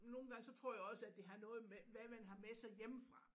Nogle gange så tror jeg også at det har noget med hvad man har med sig hjemmefra